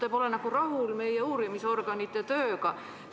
Te pole nagu rahul meie uurimisorganite tööga.